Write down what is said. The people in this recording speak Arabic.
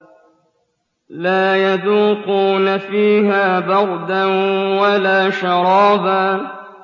لَّا يَذُوقُونَ فِيهَا بَرْدًا وَلَا شَرَابًا